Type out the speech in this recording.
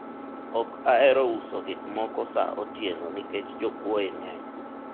ok ahero uso gikmoko sa otieno nikech jokuoye ng'eny